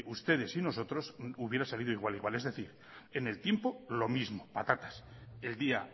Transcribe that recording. ustedes y nosotros hubiera salido igual igual es decir en el tiempo lo mismo patatas el día